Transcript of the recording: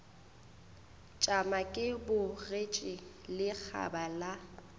tšama ke bogetše lekgaba la